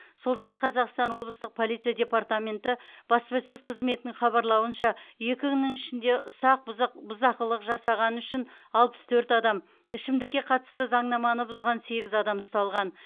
солтүстік қазақстан облыстық полиция департаменті баспасөз қызметінің хабарлауынша екі күннің ішінде ұсақ бұзық бұзақылық жасағаны үшін алпыс төрт адам ішімдікке қатысты заңнаманы бұзған сегіз адам ұсталған